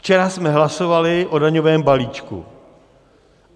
Včera jsme hlasovali o daňovém balíčku.